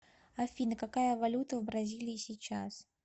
афина какая валюта в бразилии сейчас